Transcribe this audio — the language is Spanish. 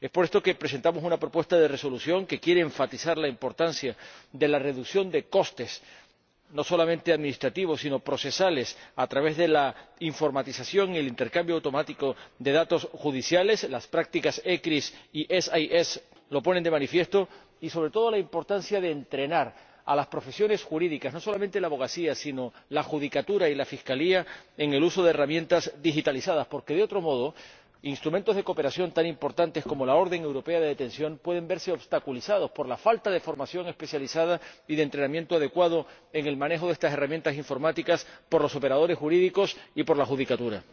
Por esto presentamos una propuesta de resolución que quiere enfatizar la importancia de la reducción de costes, no solamente administrativos, sino también procesales, a través de la informatización y el intercambio automático de datos judiciales las prácticas ECRIS y SIS II lo ponen de manifiesto y, sobre todo, la importancia de entrenar a las profesiones jurídicas, no solamente la abogacía, sino también la judicatura y la fiscalía, en el uso de herramientas digitalizadas, porque, de otro modo, instrumentos de cooperación tan importantes como la orden de detención europea pueden verse obstaculizados por la falta de formación especializada y de entrenamiento adecuado en el manejo de estas herramientas informáticas por los operadores jurídicos y por la judicatura.